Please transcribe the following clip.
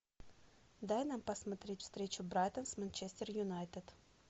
дай нам посмотреть встречу братон с манчестер юнайтед